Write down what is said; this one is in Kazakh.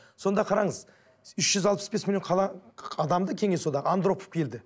сонда қараңыз үш жүз алпыс бес миллион адамды кеңес одағы андропов келді